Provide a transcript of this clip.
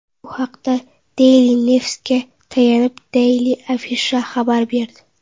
Bu haqda Daily News’ga tayanib, Daily Afisha xabar berdi .